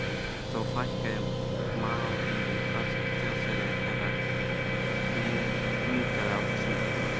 þó fækkaði maóríum ört og þjóðfélagi þeirra hnignaði á þessum tíma